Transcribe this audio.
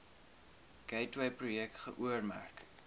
gateway projek geoormerk